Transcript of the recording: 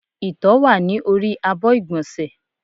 Ìtọ́ wá ní orí àbọ̀ igbonse